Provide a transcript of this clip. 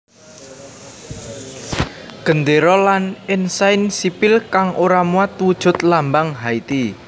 Gendéra lan ensain sipil kang ora muat wujud lambang Haiti